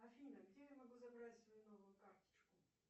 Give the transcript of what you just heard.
афина где я могу забрать свою новую карточку